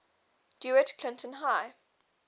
dewitt clinton high